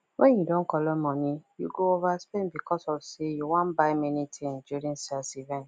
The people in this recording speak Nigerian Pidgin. when you don collect money you go overspend because of say you wna buy many thing during sales events